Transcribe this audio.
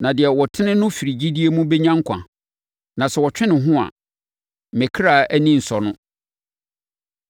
Na, “Deɛ ɔtene no firi gyidie mu bɛnya nkwa, na sɛ ɔtwe ne ho a, me kra ani rensɔ no.”